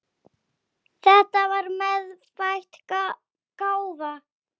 Þetta var meðfædd gáfa.